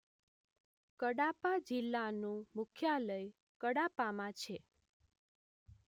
કડાપા જિલ્લાનું મુખ્યાલય કડાપામાં